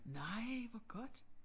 Nej hvor godt